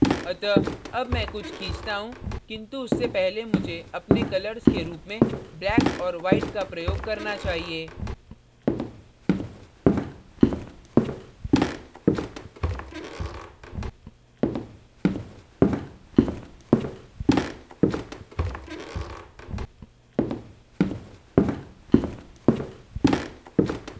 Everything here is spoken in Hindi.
अतः अब मैं कुछ खींचता हूँ किन्तु उससे पहले मुझे अपने colours के रूप में black और white का प्रयोग करना चाहिए